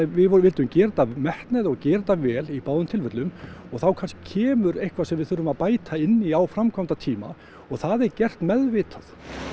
við vildum gera þetta af metnaði og gera þetta vel í báðum tilfellum og þá kannski kemur eitthvað sem við þurfum að bæta inn í á framkvæmdatíma og það er gert meðvitað